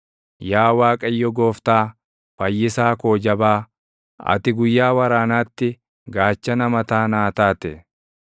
Yaa Waaqayyo Gooftaa, fayyisaa koo jabaa, ati guyyaa waraanaatti gaachana mataa naa taate.